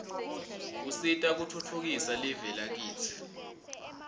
usita kutfutfukisa live lakitsi